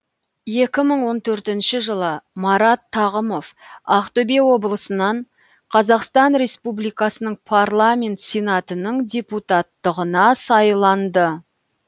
екі мың он төртінші жылы марат тағымов ақтөбе облысынан қазақстан республикасының парламент сенатының депутаттығына сайланды